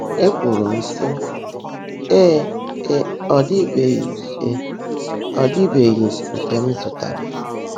Ékwùrú m, sị́: “Ée é, ọ́ ḍị́bèèghị́ é, ọ́ ḍị́bèèghị́ nkè m zụ́táárá.